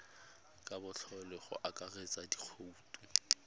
ka botlalo go akaretsa dikhoutu